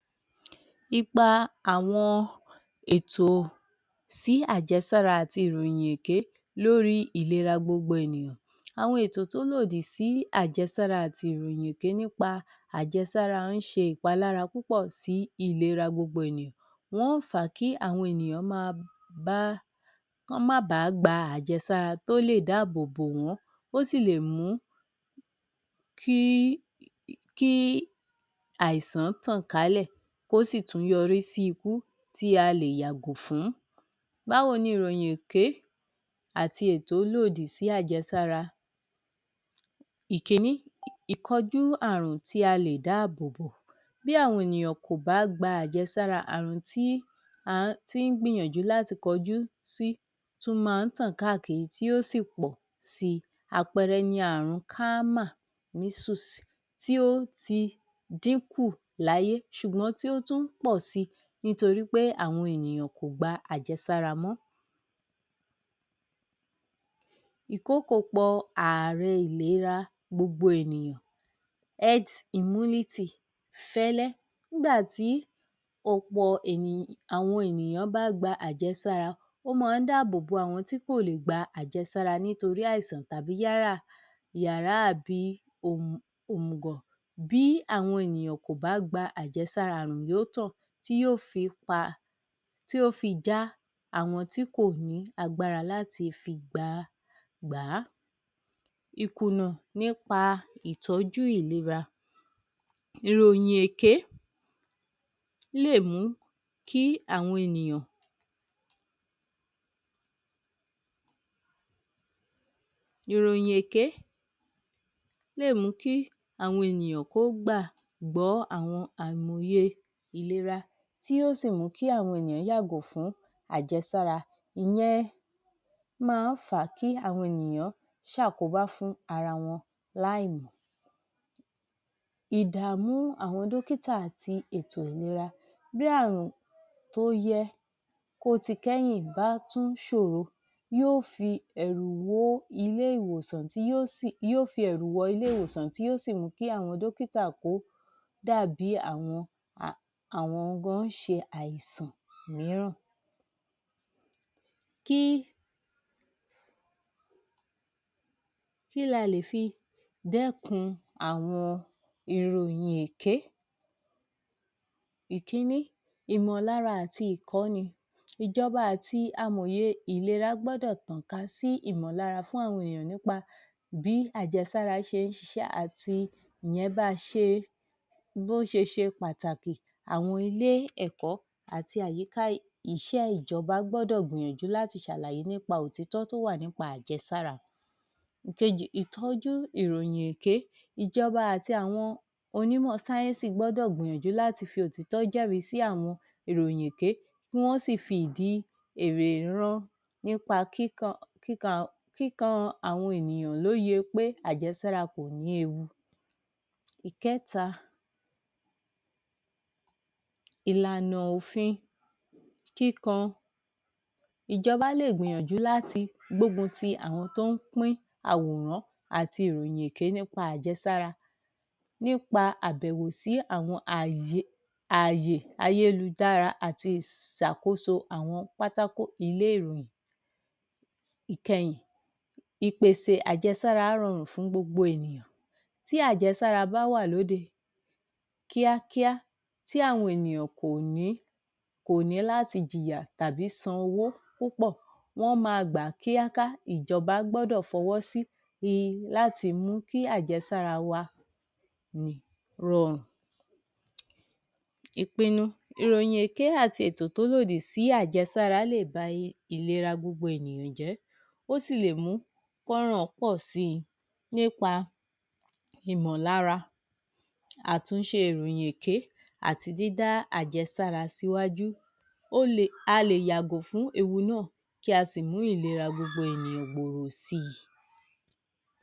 Ipa àwọn ètò sí àjẹsára àti ìròyìn èké lórí ìlera gbogbo ènìyàn àwọn ètò tó lòdì sí àjẹsára àti ìròyìn èké nípa àjẹsára ń ṣe ìpalára púpọ̀ sí ìlera gbogbo ènìyàn Wọ́n ń fà á kí àwọn ènìyàn máa bá Kí wọ́n máa ba gba àjẹsára tó lè dáàbòbò wọ́n, ó sì lè mú Kí kí àìsàn tàn kálẹ̀ kó sì tún yọrí sí ikú tí a lè yàgò fún Báwo ni ìròyìn èké àti ètò lòdì sí àjẹsára? ìkiní, ìkojú ààrùn tí a lè dáàbòbò bí àwọn ènìyàn kò bá gba àjẹsára àrùn tí a ti ń gbìyànjú láti kọjú sí tún máa ń tàn káàkiri tí yóò sì tàn si, àpẹẹrẹ ni àrùn kámà (measles) Ó ti dín kù láyé ṣùgbọ́n tí o tún ń pọ̀ si nítorí pé àwọn èèyàn kò gba àjẹsára mọ́ ìkoko pọ àrẹ ìlera gbogbo ènìyàn (eggs immunity) fẹ́lẹ́ nígbà tí ọ̀pọ̀ àwọn ènìyàn bá gba àjẹsára ó máa ń dáàbòbò àwọn tí kò lè gba àjẹsára nítorí àìsàn tàbí yálà àbí òmùgọ̀ Bí àwọn ènìyàn kò bá gbà àjẹsára àrùn yó tàn tí yó fi pa... tí yóò fi já àwọn tí kò ní agbára láti fi gbà á Ìkùnnà nípa ìtọ́jú ìlera ìròyìn èké lè mú kí àwọn ènìyàn ìròyìn èké lè mú kí àwọn ènìyàn kó gbàgbọ́ àwọn àìmọye ìlera tí yóò sì mú kí àwọn ènìyàn yàgò fún àjẹsára ìyẹn máa ń fà á kí àwọn ènìyàn ṣe àkóbá fún ara wọn láì mọ̀ Ìdàmú àwọn dọ́kítà àti ètò ìlera bí àrùn tó yẹ kó ti kẹ́yìn bá tún ṣòro yóò fi ẹ̀rù wó ilé-ìwòsàn tí yó sì...yó fi ẹ̀rù wọ ilé-ìwòsàn tí yó sì mú kí àwọn dọ́kítà kó dàbí àwọn gan ń ṣe àìsàn mìíràn kí Kí ni a lè fi dẹ́kun àwọn ìròyìn èké? ìkinní, ìmọ̀lára àti ìkọ́ni, ìjọba àti amòye ìlera gbọ́dọ̀ tàn ká sí ìmọ̀lára fún àwọn ènìyàn nípa bí àjẹsára ṣe ń ṣiṣẹ́ àti ìyẹn bí a ṣe bí ó ṣe ṣe pàtàkì àwọn ilé-ẹ̀kọ́ àti àyíká iṣẹ́ ìjọba gbọ́dọ̀ gbìyànjú láti ṣàlàyé nípa òtítọ́ tó wà nípa àjẹsára Èkejì, ìtọ́jú ìròyìn èké. Ìjọba àti àwọn onímọ̀ sáyẹ́nsì gbọ́dọ̀ gbìyànjú láti fi òtítọ́ jẹ́ri sí àwọn ìròyìn èké kí wọ́n sì fi ìdí èrè ran nípa kíkọ́ àwọn ènìyàn lóye pé àjẹsára kò ní ewu ẹ̀kẹta, ìlànà òfin kíkọ ìjọbá lè gbìyànjú láti gbógun ti àwọn tó ń pín àwòrán àti ìròyìn èké nípa àjẹsára nípa àbẹ̀wò sí àwọn ààyè ayélujára àti ìṣàkóso àwọn pátákó ilé-ìròyìn Ìkẹyìn, ìpèsè ajẹsára rọrùn fún gbogbo ènìyàn Tí àjẹsára bá wà lóde Kíákíá tí àwọn ènìyàn kò ní láti jìyà tàbí san owó púpọ̀, wọ́n máa gbà kí ìjọbá gbọ́dọ̀ fọwọ́ sí láti mú kí àjẹsára wa lè rọrùn Ìpinnu ìròyìn èké àti ètò tó lòdì sí àjẹsára lè ba ìlera gbogbo ènìyàn jẹ́ ó sì lè mú kí ọ̀ràn pọ̀ si nípa ìmọ̀lára Àtúnṣe ìròyìn èké àti dída àjẹsára sí wájú A lè yàgò fún ewu náà kí a sì mú ìlera gbogbo ènìyàn gbòòrò si